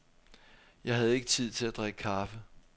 Jeg havde ikke tid til at drikke kaffe.